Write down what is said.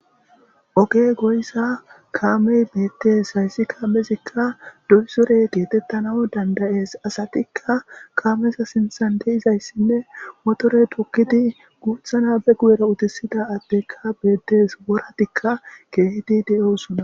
Oge goysa kaamey beettes. Hayssi kaamezikka doysore geetettanaw dandayees. Asatikka kaameza sinthan de7izayssinne motorey toggidi guutha na be guyera utisida addeekka bettes. Woratikka keehidi de7oosona.